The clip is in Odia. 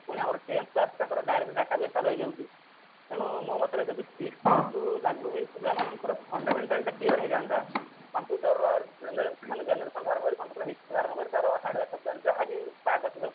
ପୁଣି ଆମର tenth class ଟା ତାଙ୍କର regarding database ଟା ରହି ଯାଉଛି ତେଣୁ ମୋ ମତରେ ଯଦି six class ରୁ ଯଦି ଲାଗୁ ହେଇ ପିଲାମାନଙ୍କର fundamental ଟା clear ହେଇଯାନ୍ତା ତାଙ୍କୁ ତାର generation ଧରୁ ଧରୁ ମାନେ computer history ରୁ ଆରମ୍ଭ କରି ତାର hardware software ଯାହାବି ତା topic